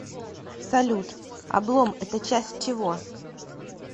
салют облом это часть чего